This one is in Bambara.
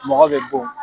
Mɔgɔ bɛ bon